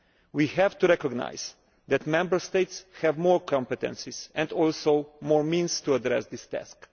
We have to recognise that Member States need to have more competences and also more means to address this task.